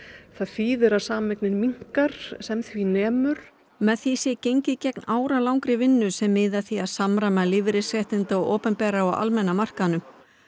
það þýðir að sameignin minnkar sem því nemur með því sé gengið gegn áralangri vinnu sem miði að því að samræma lífeyrisréttindi á opinbera og almenna markaðnum